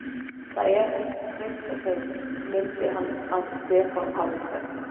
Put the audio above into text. Það er hægt að treysta þeim, mundi hann að Stefán hafði sagt.